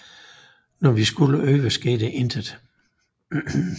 Når vi skulle øve skete intet